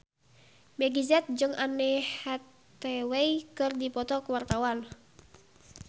Meggie Z jeung Anne Hathaway keur dipoto ku wartawan